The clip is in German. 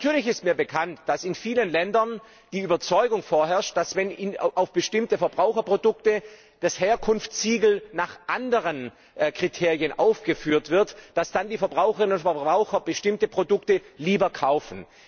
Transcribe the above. Natürlich ist mir bekannt, dass in vielen Ländern die Überzeugung vorherrscht, dass, wenn auf bestimmten Verbraucherprodukten das Herkunftssiegel nach anderen Kriterien aufgeführt wird, die Verbraucherinnen und Verbraucher bestimmte Produkte lieber kaufen.